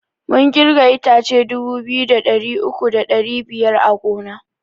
Mun kirga itace dubu biyu da ɗari uku da ɗari biyar a gona